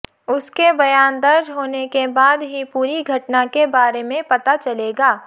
उसके बयान दर्ज होने के बाद ही पूरी घटना के बारे में पता चलेगा